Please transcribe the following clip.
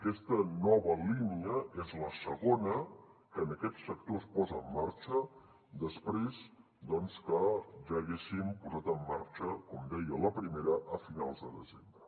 aquesta nova línia és la segona que en aquest sector es posa en marxa després doncs que ja haguéssim posat en marxa com deia la primera a finals de desembre